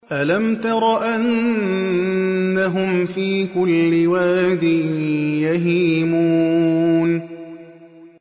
أَلَمْ تَرَ أَنَّهُمْ فِي كُلِّ وَادٍ يَهِيمُونَ